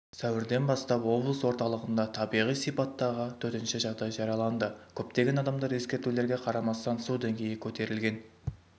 сәуірден бастап облыс орталығында табиғи сипаттағы төтенше жағдай жарияланды көптеген адамдар ескертулерге қарамастан су деңгейі көтерілген